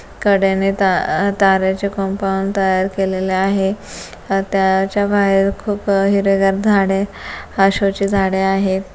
कड्याने ता ह- तार्‍याचे कंपाऊंड तयार केलेले आहे त्याच्या बाहेर खूप हिरवेगार झाडे अ शो चे झाडे आहेत.